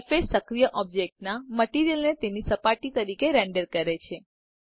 surface સક્રિય ઑબ્જેક્ટના material ને તેની સપાટી તરીકે રેન્ડર કરે છે